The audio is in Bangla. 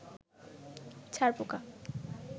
ছারপোকা